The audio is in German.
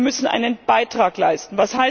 Wir müssen einen Beitrag leisten.